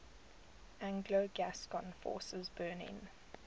anglo gascon forces burning